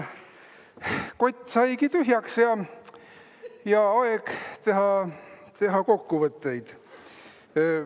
Kott saigi tühjaks ja aeg teha kokkuvõtteid.